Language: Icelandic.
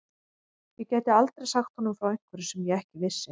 Ég gæti aldrei sagt honum frá einhverju sem ég ekki vissi.